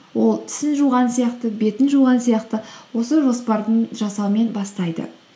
ол тісін жуған сияқты бетін жуған сияқты осы жоспардың жасаумен бастайды